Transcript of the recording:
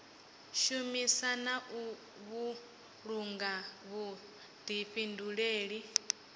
shumisa na u vhulunga vhuḓifhinduleli